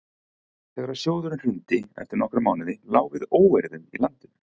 þegar sjóðurinn hrundi eftir nokkra mánuði lá við óeirðum í landinu